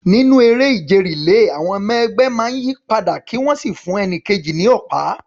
Nínú eré ìje relay, àwọn ọmọ ẹgbẹ́ máa ń yí padà kí wọ́n sì fún ẹni kejì ní ọ̀pá.